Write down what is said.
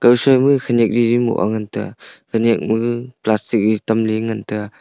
gao soima khaniak gigi mu ah ngantia khaniak maga plastic tamley ngantiya.